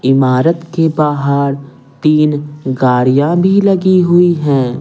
इमारत के बाहर तीन गाड़ियां भी लगी हुई हैं।